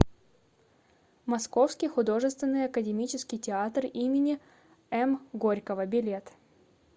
московский художественный академический театр им м горького билет